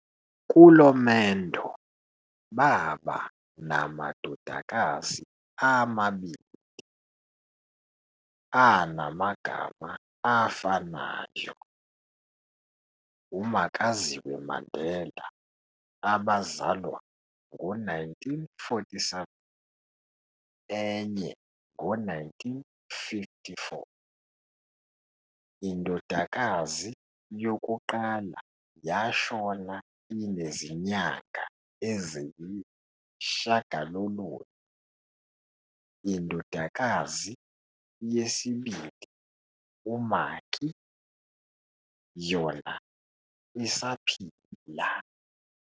Kulo mendo, baba namadodakazi amabili, anamagama afanayo, uMakaziwe Mandela, abazalwa ngo 1947 enye ngo 1954, indodakazi youqala yashona inezinyanga eziyishagalolunye, indodakazi yesibili, u-"Maki", yona isaphila.